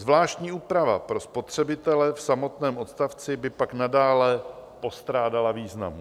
Zvláštní úprava pro spotřebitele v samotném odstavci by pak nadále postrádala významu.